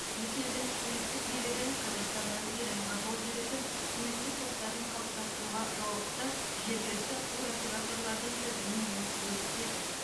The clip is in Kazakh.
екі елдің туристік билігі қазақстаннан иранға жол жүретін туристік топтарын қалыптастыруға жауапты жергілікті туроператорлардың тізімімен бөліседі